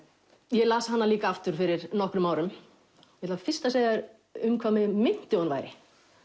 ég las hana líka aftur fyrir nokkrum árum ég ætla fyrst að segja þér um hvað mig minnti að hún væri